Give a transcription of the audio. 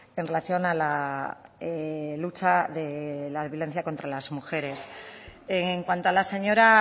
en relación a la lucha de la violencia contra las mujeres en cuanto a la señora